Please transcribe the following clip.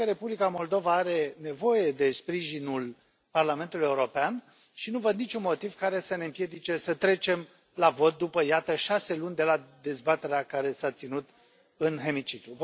Cred că Republica Moldova are nevoie de sprijinul Parlamentului European și nu văd niciun motiv care să ne împiedice să trecem la vot după, iată, șase luni de la dezbaterea care s a ținut în hemiciclu.